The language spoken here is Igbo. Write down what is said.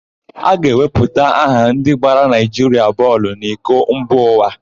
A ga-ewepụta aha ndị ga-agbara Naịjiria bọọlụ n'iko mba ụwa.